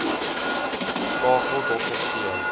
skakel dr c